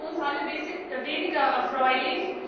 Das war für uns alle weniger erfreulich.